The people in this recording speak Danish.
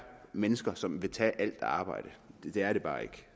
mennesker som ikke vil tage alt arbejde det er det bare